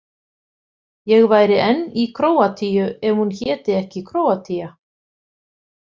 Ég væri enn í Króatíu ef hún héti ekki Króatía.